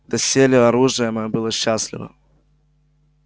доселе оружие моё было счастливо